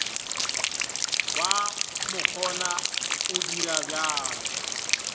wa makgona o dira bjalo